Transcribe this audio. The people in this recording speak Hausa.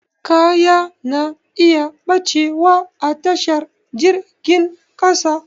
Kaya na iya ɓacewa a tashar jirgin ƙasa